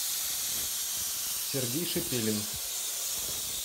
сергей шепелин